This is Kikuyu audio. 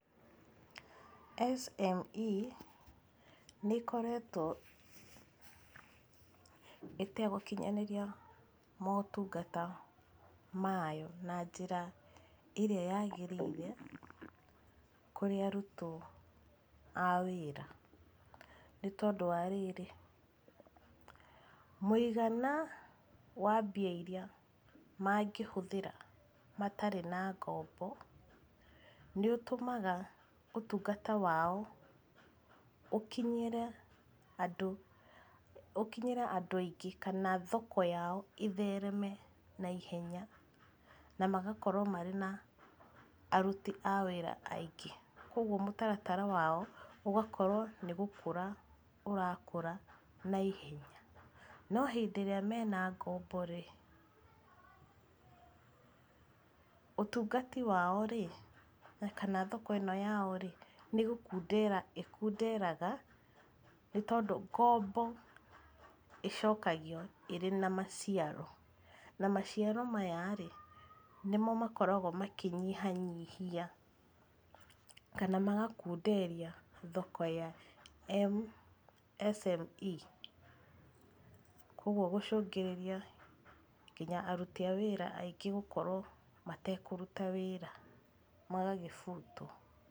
SME nĩĩkoretwo ĩtegũkinyanĩria motungata mayo na njĩra ĩrĩa yagĩrĩire kũrĩ arutwo a wĩra nĩ tondũ wa rĩrĩ, mũigana wa mbia iria mangĩhũthĩra matarĩ na ngombo nĩũtũmaga ũtungata wao ũkinyĩre andũ ũkinyĩre andũ aingĩ kana thoko yao ĩthereme naihenya na magakorwo marĩ na aruti a wĩra aingĩ. Kuoguo mũtaratara wao ũgakowo nĩ gũkũra ũrakũra naihenya. No hĩndĩ ĩrĩa mena ngombo-rĩ ũtungati wao-rĩ kana thoko ĩno yao-rĩ, nĩgũkundera ĩkunderaga nĩtondũ ngombo ĩcokagio ĩrĩ na maciaro na maciaro maya-rĩ, nĩmo makoragwo makĩnyihanyihia kana magakunderia thoko ya MSME kuoguo gũcũngĩrĩria kinya aruti a wĩra aingĩ gũkorwo matekũruta wĩra, magagĩbutwo.